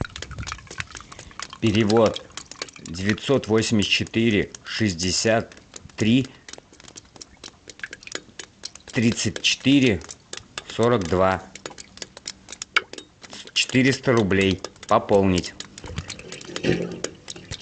перевод девятьсот восемьдесят четыре шестьдесят три тридцать четыре сорок два четыреста рублей пополнить